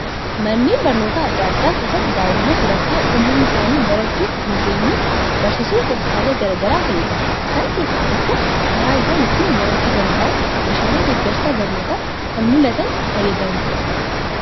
Manneen barnootaa adda addaa keessatti daa'imman sadarkaan umrii isaanii barchuuf hin geenyu barsiisuuf tooftaalee garaagaraa fayyadamu. Isaan keessaa tokko karaa isaan ittiin barachuu dand'an meeshaalee deeggarsa barnootaa kan mul'atan fayyadamuudha.